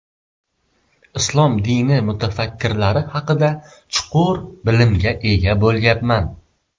Islom dini mutafakkirlari haqida chuqur bilimga ega bo‘lyapman.